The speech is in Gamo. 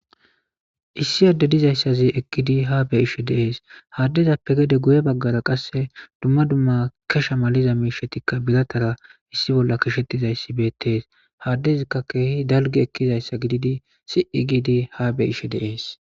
Issi ade dizaysazi eqidi ha beyishe des ha adezape hen guye bagara qase dumma dumma kesha maliza mishatikka biratara issi bolla qasheziza betes ha adezika kehi dalgi ekiza gididi si'i gidi ha be'ishe des